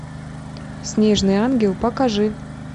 снежный ангел покажи